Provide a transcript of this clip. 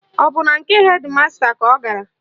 Ọ bụ na nke hedị masta ka ọ gara?